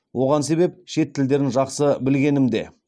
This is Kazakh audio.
оған себеп шет тілдерін жақсы білгенімде